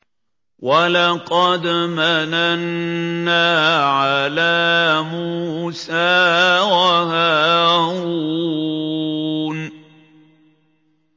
وَلَقَدْ مَنَنَّا عَلَىٰ مُوسَىٰ وَهَارُونَ